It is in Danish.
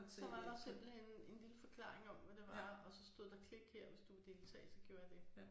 Så var der simpelthen en lille forklaring om hvad det var og så stod der klik her hvis du vil deltage så gjorde jeg det